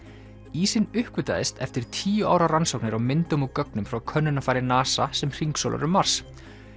ísinn uppgötvaðist eftir tíu ára rannsóknir á myndum og gögnum frá könnunarfari NASA sem hringsólar um Mars